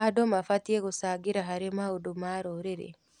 Andũ mabatiĩ gũcangĩra harĩ maũndũ ma rũrĩrĩ.